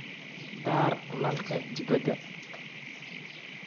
Daar nalalka dibadda.